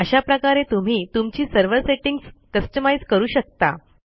अशा प्रकारे तुम्ही तुमची सर्व्हर सेटिंग्ज कस्टमाइज करू शकता